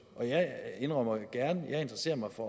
og jeg indrømmer gerne jeg interesserer mig for